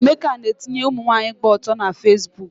Emeka na-etinye ụmụnwaanyị gba ọtọ na Fesbuk